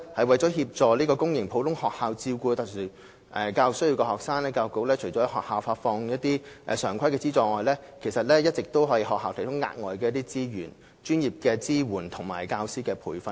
為協助公營普通學校照顧有特殊教育需要的學生，教育局除轄下發放一些常規的資助外，其實亦一直為學校提供額外資源、專業支援及教師培訓。